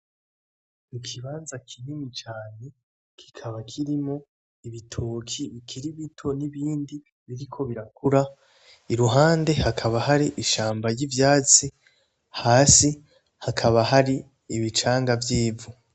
Ikibanza kinini cane kikaba kirimwo ibitoki bikiri bito n'ibindi biriko birakura iruhande hakaba hari ishamba ry'ivyatsi hasi hakaba hari ibicanga vy'ivu.